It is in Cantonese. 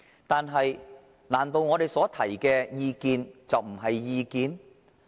但是，難道我們所提的意見，就不是意見？